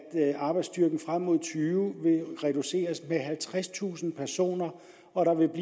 arbejdsstyrken frem mod og tyve vil reduceres med halvtredstusind personer og der vil